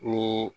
Ni